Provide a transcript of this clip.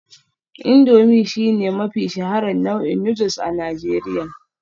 Indomie shine mafi shaharar nau'in noodles a Najeriya